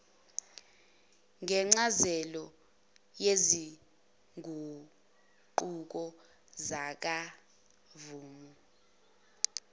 ngencazelo yezinguquko zakamuva